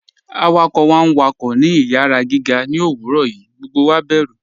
Awakọ̀ wá n wákọ̀ ní ìyàrá gígà ní owurọ̀ yìí, gbogbo wá bẹ̀rù.